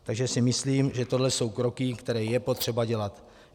Takže si myslím, že tohle jsou kroky, které je potřeba dělat.